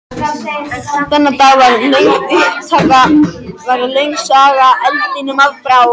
Þennan dag varð löng saga eldinum að bráð.